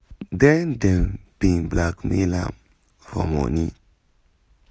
den dem bin blackmail am for money